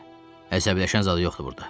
Əsəbləşən zad yoxdur burda.